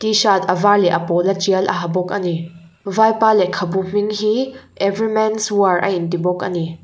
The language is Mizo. tshirt a var leh a pawla trial a ha bawk a ni vaipa lekhabu hming hi every mens war a inti bawk a ni.